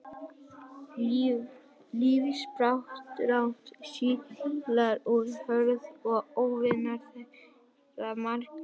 Lífsbarátta síla er hörð og óvinir þeirra margir.